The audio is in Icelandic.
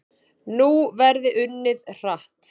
Nú verði unnið hratt